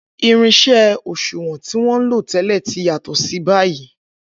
Irin-iṣẹ́ òṣùwọ̀n tí wọ́n ń lò tẹ́lẹ̀ ti yàtọ̀ báyìí.